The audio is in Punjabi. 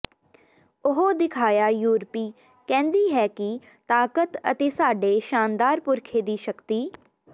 ਉਹ ਦਿਖਾਇਆ ਯੂਰਪੀ ਕਹਿੰਦੀ ਹੈ ਕਿ ਤਾਕਤ ਅਤੇ ਸਾਡੇ ਸ਼ਾਨਦਾਰ ਪੁਰਖੇ ਦੀ ਸ਼ਕਤੀ